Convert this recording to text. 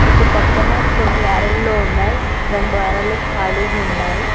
ఇటు పక్కన కొన్ని అరల్లో ఉన్నాయి రెండు అరలు ఖాళీగా ఉన్నాయి.